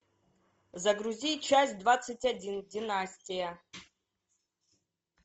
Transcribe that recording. загрузи часть двадцать один династия